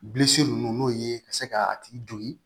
Bilisi ninnu n'o ye ka se ka a tigi don ye